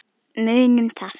Munum það.